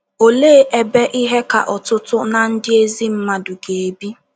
Olee ebe ihe ka ọtụtụ ná ndị ezi mmadụ ga - ebi?